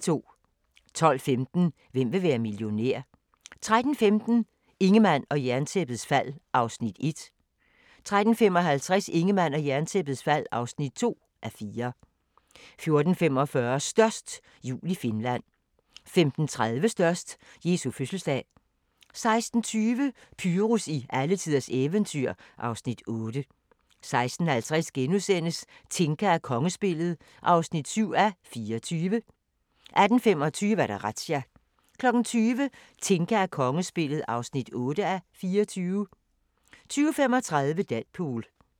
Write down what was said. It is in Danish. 12:15: Hvem vil være millionær? 13:15: Ingemann og Jerntæppets fald (1:4) 13:55: Ingemann og Jerntæppets fald (2:4) 14:45: Størst - jul i Finland 15:30: Størst - Jesu fødselsdag 16:20: Pyrus i alletiders eventyr (Afs. 8) 16:50: Tinka og kongespillet (7:24)* 18:25: Razzia 20:00: Tinka og kongespillet (8:24) 20:35: Deadpool